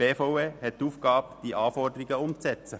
Die BVE hat die Aufgabe, diese Anforderungen umzusetzen.